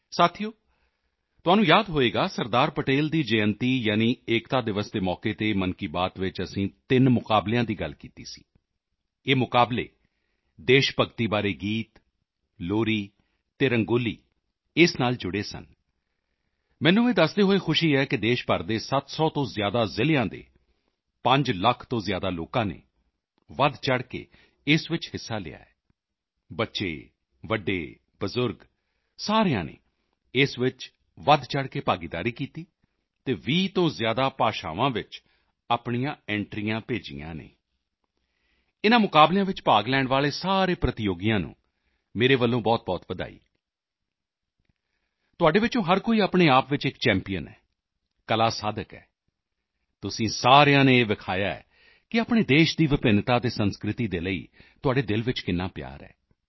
ਸਾਥੀਓ ਤੁਹਾਨੂੰ ਯਾਦ ਹੋਵੇਗਾ ਸਰਦਾਰ ਪਟੇਲ ਦੀ ਜਯੰਤੀ ਯਾਨੀ ਏਕਤਾ ਦਿਵਸ ਦੇ ਮੌਕੇ ਤੇ ਮਨ ਕੀ ਬਾਤ ਵਿੱਚ ਅਸੀਂ ਤਿੰਨ ਮੁਕਾਬਲਿਆਂ ਦੀ ਗੱਲ ਕੀਤੀ ਸੀ ਇਹ ਮੁਕਾਬਲੇ ਦੇਸ਼ ਭਗਤੀ ਬਾਰੇ ਗੀਤ ਲੋਰੀ ਅਤੇ ਰੰਗੋਲੀ ਇਸ ਨਾਲ ਜੁੜੇ ਸਨ ਮੈਨੂੰ ਇਹ ਦੱਸਦੇ ਹੋਏ ਖੁਸ਼ੀ ਹੈ ਕਿ ਦੇਸ਼ ਭਰ ਦੇ 700 ਤੋਂ ਜ਼ਿਆਦਾ ਜ਼ਿਲ੍ਹਿਆਂ ਦੇ 5 ਲੱਖ ਤੋਂ ਜ਼ਿਆਦਾ ਲੋਕਾਂ ਨੇ ਵਧਚੜ੍ਹ ਕੇ ਇਸ ਵਿੱਚ ਹਿੱਸਾ ਲਿਆ ਹੈ ਬੱਚੇ ਵੱਡੇ ਬਜ਼ੁਰਗ ਸਾਰਿਆਂ ਨੇ ਇਸ ਵਿੱਚ ਵਧਚੜ੍ਹ ਕੇ ਭਾਗੀਦਾਰੀ ਕੀਤੀ ਅਤੇ 20 ਤੋਂ ਜ਼ਿਆਦਾ ਭਾਸ਼ਾਵਾਂ ਵਿੱਚ ਆਪਣੀਆਂ ਐਂਟਰੀਆਂ ਭੇਜੀਆਂ ਹਨ ਇਨ੍ਹਾਂ ਮੁਕਾਬਲਿਆਂ ਵਿੱਚ ਭਾਗ ਲੈਣ ਵਾਲੇ ਸਾਰੇ ਪ੍ਰਤੀਯੋਗੀਆਂ ਨੂੰ ਮੇਰੇ ਵੱਲੋਂ ਬਹੁਤਬਹੁਤ ਵਧਾਈ ਤੁਹਾਡੇ ਵਿੱਚੋਂ ਹਰ ਕੋਈ ਆਪਣੇ ਆਪ ਚ ਇੱਕ ਚੈਂਪੀਅਨ ਹੈ ਕਲਾ ਸਾਧਕ ਹੈ ਤੁਸੀਂ ਸਾਰਿਆਂ ਨੇ ਇਹ ਵਿਖਾਇਆ ਹੈ ਕਿ ਆਪਣੇ ਦੇਸ਼ ਦੀ ਵਿਭਿੰਨਤਾ ਅਤੇ ਸੰਸਕ੍ਰਿਤੀ ਦੇ ਲਈ ਤੁਹਾਡੇ ਦਿਲ ਵਿੱਚ ਕਿੰਨਾ ਪਿਆਰ ਹੈ